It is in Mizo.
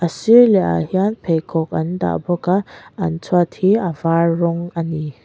a sir leh ah hian pheikhawk an dah bawk a an chhuat hi a var rawng ani.